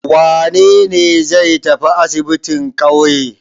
Wane ne zai tafi asibin ƙauye?